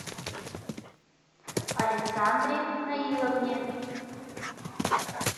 александре наиловне